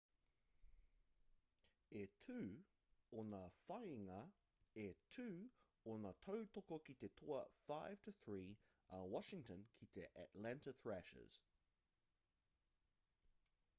e 2 ōna whāinga e 2 ōna tautoko ki te toa 5-3 a washington ki te atlanta thrashers